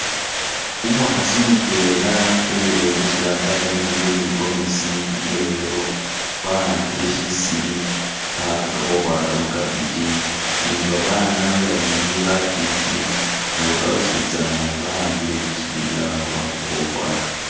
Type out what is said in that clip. Umukhasi mutwela ubuwele shitambala imurwe ni gomesi iya yellow, wa'ambile shisili alikho akhakakho ukhwaka mu cabbage ni ba baana babili bafiti nabo bositsana ba'ambile bisiri byawe he bakhakakho ukhwaka.